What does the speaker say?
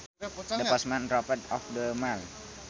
The postman dropped off the mail